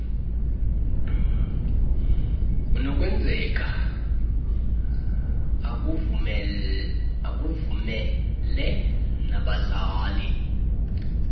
kunokwenzeka akuvumele nabazali